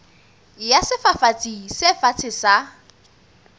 ya sefafatsi se fatshe sa